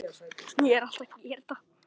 Og nú gerðist það.